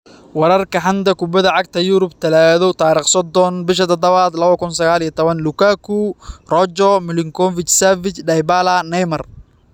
Wararka xanta kubada cagta Yurub Talaado 30.07.2019: Lukaku, Rojo, Milinkovic-Savic, Dybala, Neymar